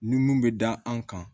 Nun bɛ da an kan